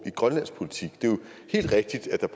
i grønlandsk politik det er jo helt rigtigt at der